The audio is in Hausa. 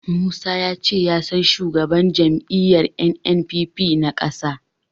Musa ya ce ya san shugaban jam'iyyar NNPP na ƙasa.